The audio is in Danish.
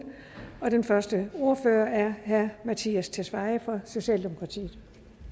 den første ordfører er herre mattias tesfaye fra socialdemokratiet